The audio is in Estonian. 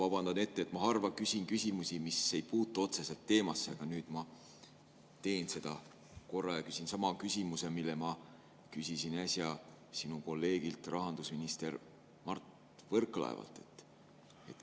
Ma vabandan ette, ma harva küsin küsimusi, mis ei puutu otseselt teemasse, aga nüüd ma teen seda korra ja küsin sama küsimuse, mille ma küsisin äsja sinu kolleegilt, rahandusminister Mart Võrklaevalt.